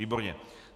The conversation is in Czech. Výborně.